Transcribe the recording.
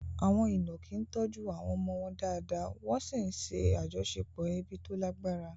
Àwọn ìnàkí tọ́jú àwọn ọmọ wọn dáadáa, wọ́n sì ń ṣe àjọṣepọ̀ ẹbí tó lágbára.